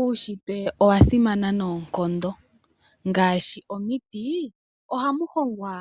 Uushitwe owa simana noonkondo ngaashi omiti ohamu hongwa